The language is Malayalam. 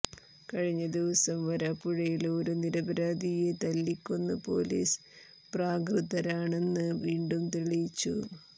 കഴിഞ്ഞ ദിവസം വരാപ്പുഴയില് ഒരു നിരപരാധിയെ തല്ലിക്കൊന്ന് പോലീസ് പ്രാകൃതരാണെന്ന് വീണ്ടും തെളിയിച്ചു